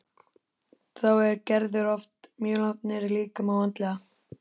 Þá er Gerður oft mjög langt niðri líkamlega og andlega.